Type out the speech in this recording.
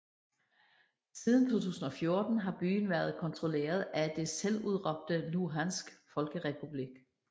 Siden 2014 har byen været kontrolleret af den selvudråbte Luhansk Folkerepublik